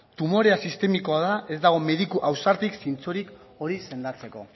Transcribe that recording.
tumorea sistemikoa da ez dago mediku ausartik zintzorik hori sendatzeko